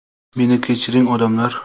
Meni kechiring, odamlar.